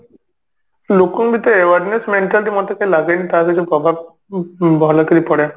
ଲୋକଙ୍କୁ ବି ତ awareness ମାନୁଛନ୍ତି ମୋତେ ତ ଲାଗେନି ତାର ଯଉ ପ୍ରଭାବ ଉଁ ଭଲକିରି ପଡେ